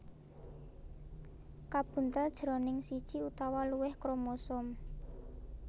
kabuntel jroning siji utawa luwih kromosom